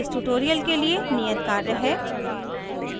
इस tutorial के लिए नियत कार्य है